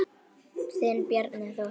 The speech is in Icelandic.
Þinn Bjarni Þór.